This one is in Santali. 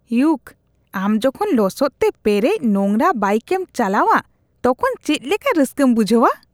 ᱤᱭᱚᱠ ᱾ ᱟᱢ ᱡᱚᱠᱷᱚᱱ ᱞᱚᱥᱚᱫᱛᱮ ᱯᱮᱨᱮᱡ ᱱᱳᱝᱨᱟ ᱵᱟᱭᱤᱠᱮᱢ ᱪᱟᱞᱟᱣᱼᱟ ᱛᱚᱠᱷᱚᱱ ᱪᱮᱫ ᱞᱮᱠᱟ ᱨᱟᱹᱥᱠᱟᱹᱢ ᱵᱩᱡᱷᱟᱹᱣᱼᱟ ?